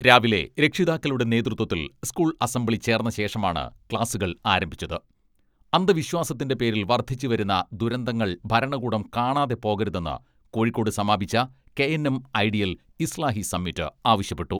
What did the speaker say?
രാവിലെ രക്ഷിതാക്കളുടെ നേതൃത്വത്തിൽ സ്കൂൾ അസംബ്ലി ചേർന്ന ശേഷമാണ് ക്ലാസുകൾ ആരംഭിച്ചത് അന്തവിശ്വാസത്തിന്റെ പേരിൽ വർദ്ധിച്ചു വരുന്ന ദുരന്തങ്ങൾ ഭരണകൂടം കാണാതെ പോകരുതെന്ന് കോഴിക്കോട് സമാപിച്ച K N M ideal Islahi summit ആവശ്യപ്പെട്ടു.